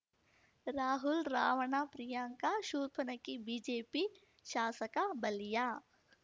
Rahul Ravana Priyanka Shurpanakhi BJP ಶಾಸಕ ಬಲಿಯಾ